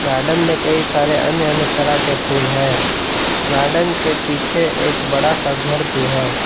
Garden में कई सारे अन्य अन्य तरह के फूल है गार्डन के पीछे एक बड़ा सा घर भी है।